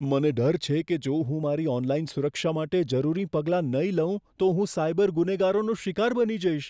મને ડર છે કે જો હું મારી ઓનલાઈન સુરક્ષા માટે જરૂરી પગલાં નહીં લઉં, તો હું સાયબર ગુનેગારોનું શિકાર બની જઈશ.